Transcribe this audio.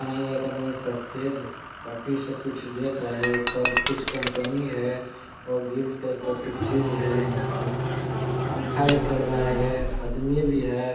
सफेद पटी सा कुछ देख रहा है ऊपर कुछ कंपनी है और गिल टाइप का कुछ चीज है यहाँ पास पंखा भी चल रहा है आदमी भी है।